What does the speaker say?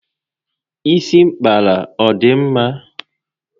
Isi a mpkara ọ dị mma?